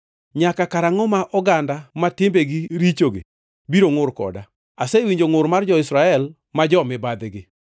“Nyaka karangʼo ma oganda ma timbegi richogi biro ngʼur koda? Asewinjo ngʼur mar jo-Israel ma jo-mibadhigi.